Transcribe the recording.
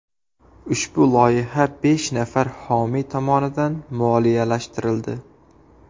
Ushbu loyiha besh nafar homiy tomonidan moliyalashtirildi.